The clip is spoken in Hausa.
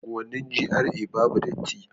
Unguwannin GRA babu datti